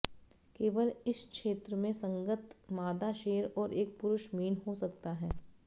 केवल इस क्षेत्र में संगत मादा शेर और एक पुरुष मीन हो सकता है